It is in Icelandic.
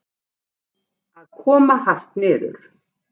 Að koma hart niður